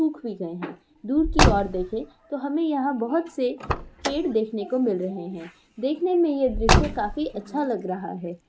सूख भी गये है दूर की ओर देखे तो हमे यहाँ बहोत से पेड़ देखने को मिल रहे है देखने में ये दृश्य काफी अच्छा लग रहा है।